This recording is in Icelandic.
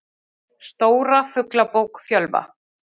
Stóra Fuglabók Fjölva.